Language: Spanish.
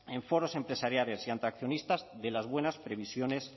en foros empresariales y ante accionistas de las buenas previsiones